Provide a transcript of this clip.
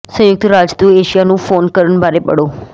ਸੰਯੁਕਤ ਰਾਜ ਤੋਂ ਏਸ਼ੀਆ ਨੂੰ ਫੋਨ ਕਰਨ ਬਾਰੇ ਪੜ੍ਹੋ